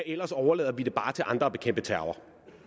ellers overlader vi det bare til andre at bekæmpe terror